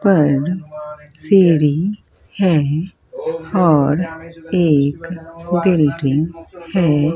ऊपर सीढ़ी है और एक बिल्डिंग है।